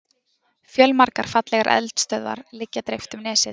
Fjölmargar fallegar eldstöðvar liggja dreift um nesið.